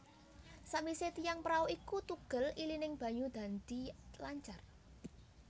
Sawise tiang prau iku tugel ilining banyu dadi lancar